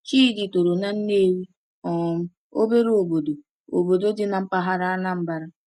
Chidi toro na Nnewi, um obere obodo obodo dị na mpaghara Anambra.